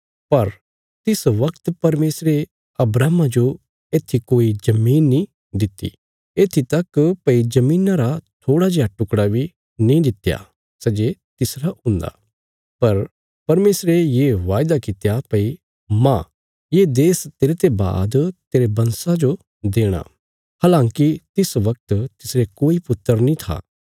पर तिस बगत परमेशरे अब्राहमा जो येत्थी कोई जमीन नीं दित्ति येत्थी तक भई धरतिया रा थोड़ा जेआ टुकड़ा बी नीं दित्या सै जे तिसरा हुन्दा पर परमेशरे ये वायदा कित्या भई माह ये देश तेरते बाद तेरे वंशजां जो देणा हलांकि तिस बगत तिसरे कोई पुत्र नीं था